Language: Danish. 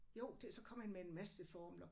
Jo det så kom han med en masse formler